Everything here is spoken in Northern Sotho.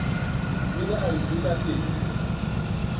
o ile a ipeta pelo